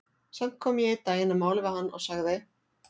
Samt kom ég einn daginn að máli við hann og sagði